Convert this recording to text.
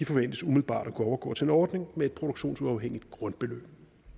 forventes umiddelbart at kunne overgå til en ordning med et produktionsuafhængigt grundbeløb